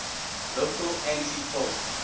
local anti poll